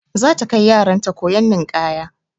Za ta kai yaran ta koyon ninƙaya.